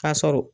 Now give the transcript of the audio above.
Ka sɔrɔ